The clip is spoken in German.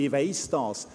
ich weiss dies.